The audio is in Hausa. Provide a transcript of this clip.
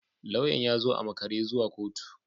Lauyan ya zo a makare zuwa kotu